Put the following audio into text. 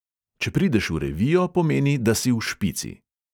Če prideš v revijo, pomeni, da si v špici.